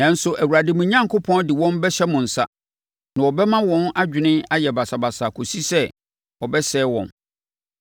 Nanso, Awurade, mo Onyankopɔn de wɔn bɛhyɛ mo nsa, na ɔbɛma wɔn adwene ayɛ basabasa kɔsi sɛ ɔbɛsɛe wɔn.